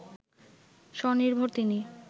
স্বনির্ভর তিনি